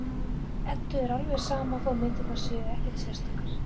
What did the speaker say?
Eddu er alveg sama þó að myndirnar séu ekkert sérstakar.